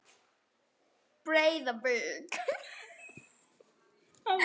Breiðavík